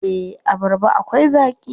Eh, abarba akwai zaaƙi.